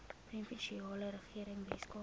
provinsiale regering weskaap